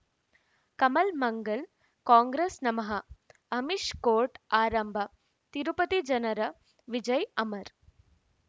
ಕಮಲ್ ಮಂಗಳ್ ಕಾಂಗ್ರೆಸ್ ನಮಃ ಅಮಿಷ್ ಕೋರ್ಟ್ ಆರಂಭ ತಿರುಪತಿ ಜನರ ವಿಜಯ್ ಅಮರ್